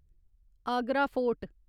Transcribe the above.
Agra fort